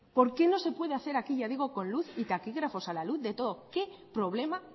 por qué no se puede hacer aquí ya digo con luz y taquígrafos a la luz de todos qué problema